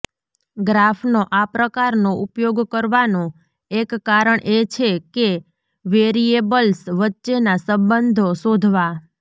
ગ્રાફનો આ પ્રકારનો ઉપયોગ કરવાનો એક કારણ એ છે કે વેરિયેબલ્સ વચ્ચેના સંબંધો શોધવા